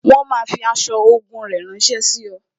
Wọn máa fi aṣọ ogun rẹ ránsẹ́ sí ọ